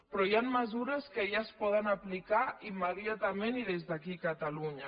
però hi han mesures que ja es poden aplicar immediatament i des d’aquí a catalunya